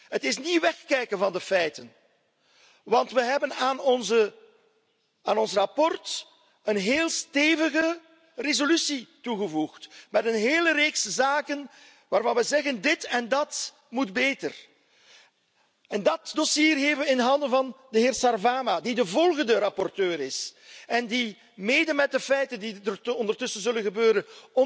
Het is niet wegkijken van de feiten, want we hebben aan ons verslag een heel stevige resolutie toegevoegd met een hele reeks zaken waarvan we zeggen dit en dat moet beter. En dat dossier geven we in handen van de heer Sarvamaa, die de volgende rapporteur is en die mede met de feiten die er ondertussen zullen gebeuren,